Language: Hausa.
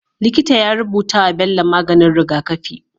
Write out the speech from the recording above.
Likita ya rubutawa Bello maganin rigakafi